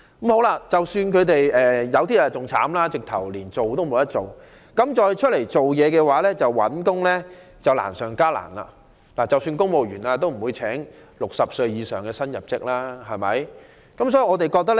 更不幸的是有些人連這些機會也沒有，要在市場上重新求職則難上加難，即使是公務員職系也不會聘請60歲以上的人士為新入職員工。